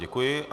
Děkuji.